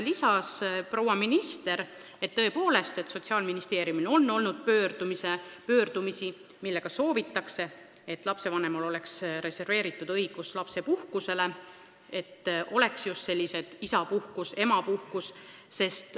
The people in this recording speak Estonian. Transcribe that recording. Proua minister täiendas teda, et Sotsiaalministeeriumi poole on pöördutud ka ettepanekuga, et mõlemal lapsevanemal oleks olemas õigus lapsepuhkusele, et oleks just nimelt isapuhkus ja emapuhkus.